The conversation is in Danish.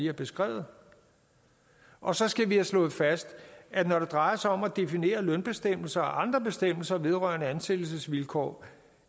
har beskrevet og så skal vi have slået fast at når det drejer sig om at definere lønbestemmelser og andre bestemmelser vedrørende ansættelsesvilkår